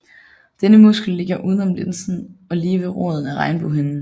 Denne muskel ligger uden om linsen og lige ved roden af regnbuehinden